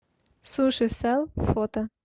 сушисэл фото